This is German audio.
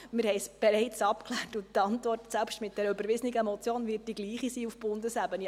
Wir haben es bereits abgeklärt, und die Antwort, selbst mit dieser überwiesenen Motion, wird auf Bundesebene die gleiche sein.